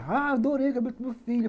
Ah, adorei o cabelo do meu filho.